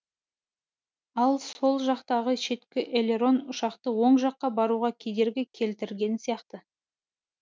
ал сол жақтағы шеткі элерон ұшақты оң жаққа бұруға кедергі келтірген сияқты